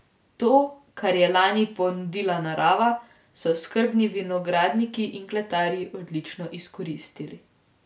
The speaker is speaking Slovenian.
To, kar je lani ponudila narava, so skrbni vinogradniki in kletarji odlično izkoristili.